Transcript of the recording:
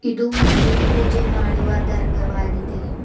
ಇದು ಮುಸ್ಲಿಂ ಪೂಜೆ ಮಾಡುವ ದರ್ಗವಾಗಿದೆ.